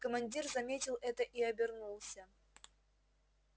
командир заметил это и обернулся